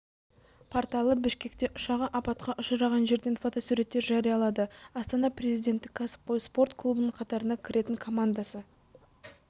порталы бішкекте ұшағы апатқа ұшыраған жерден фотосуреттер жариялады астана президенттік кәсіпқой спорт клубының қатарына кіретін командасы